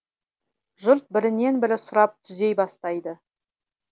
жұрт бірінен бірі сұрап түзей бастайды